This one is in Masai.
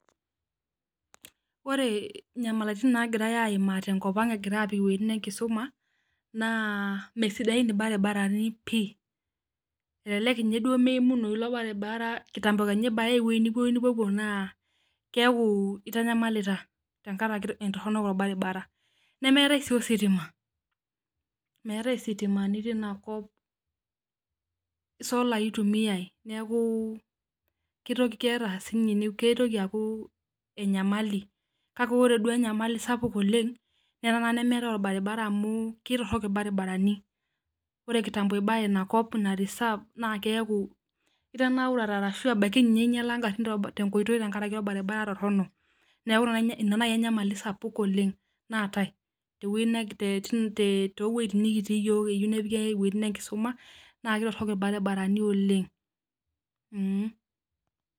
Wore nyamalitin naakirae aimaa tenkop ang' ekirai aapik iwejitin enkisuma, naa mesidain ilbarabarani pii, elelek ninye duo meimunoi ilo barabara kitambo kenya ibayaya emoji duo nipopuo naa, keeku itanyamalita tenkaraki etorono olbaribara. Nemeetai sii ositima, meetae isitimani tenia kop, isolai itumiyiai neeku kitoki aaku enyamali. Kake wore duo enyamali sapuk oleng', naa ena naa nemeetai olbaribara amu ketorok ilbarabarani. Wore kitambo ibaya inakop ina reserve naa keaku itanaurate arashu ebaiki ninye inyiala inkarrin tenkoitoi tenkaraki olbaribara torrono. Neeku ina naaji enyamali sapuk oleng' naatae tewoji toowojitin nikitii iyiok eyieu nepiki iwejitin enkisuma naa ketorok ilbarabarani oleng'.